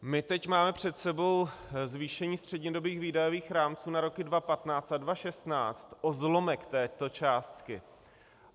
My teď máme před sebou zvýšení střednědobých výdajových rámců na roky 2015 a 2016 o zlomek této částky.